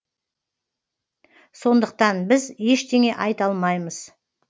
сондықтан біз ештеңе айта алмаймыз